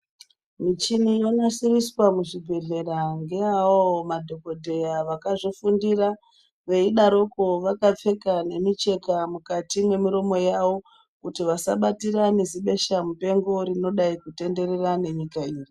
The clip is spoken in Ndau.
Michini yonasirirswa muzvibhedhlera ngeawo madhokodheya akazvifundira veidaroko vakapfeka nemicheka mukati mwemiromo yawo kuti vasabatira nezibesa mupengo rinodai kutenderera nenyika ino